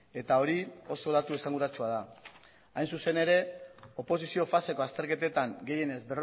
eta hori oso datu esanguratsua da hain zuzen ere oposizio faseko azterketetan gehienez